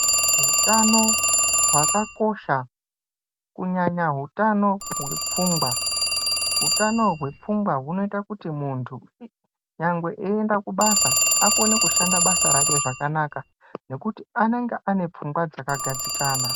Hutano hwakakosha kunyanya hutano hwepfungwa. Hutano hwepfungwa hunoita kuti muntu nyangwe eyienda kubasa akone kushanda basa rake zvakanaka, nekuti anenge ainepfungwa dzakagadzikana.